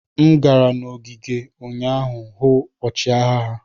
M gara n'ogige ụnyaahụ hụ ọchịagha ha.